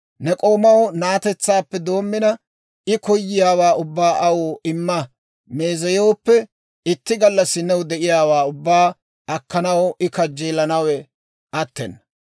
Ne k'oomaw na'atetsaappee doommina, I koyiyaawaa ubbaa aw imma meezeyooppe, itti gallassi new de'iyaawaa ubbaa akkanaw I kajjeelanawe attena.